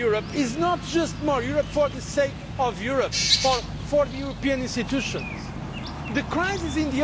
When we speak about more Europe, it is not just more Europe for the sake of Europe or for the European institutions.